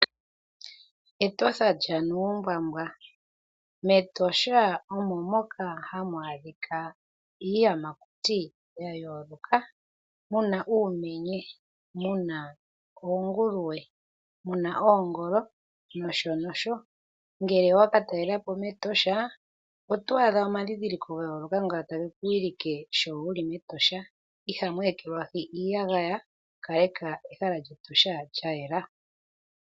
Etosha lyaNuumbwambwa. mEtosha omo moka hamu adhika iiyamakuti ya yooloka muna uumenye, muna oonguluwe, muna oongolo nosho nosho. Ngele owaka talela po mEtosha oto adha omadhindhiliko ga yooloka nga tage kuwilike sho wuli mEtosha ihamu ekelwahi iiyagaya . Kaleka ehala lyEtosha lya yela.